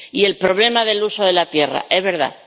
Y el problema del uso de la tierra —es verdad—.